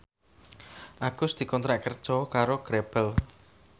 Agus dikontrak kerja karo Grebel